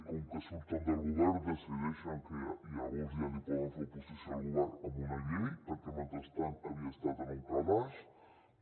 com que surten del govern decideixen que llavors ja li poden fer oposició al govern amb una llei perquè mentrestant havia estat en un calaix